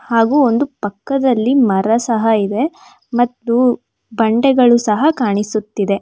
ಹಾಗೂ ಒಂದು ಪಕ್ಕದ್ದಲಿ ಮರ ಸಹ ಇದೆ ಹಾಗೂ ಪಕ್ಕದ್ದಲ್ಲಿ ಬಂಡೆ ಸಹ ಕಾಣಿಸುತ್ತಿದೆ.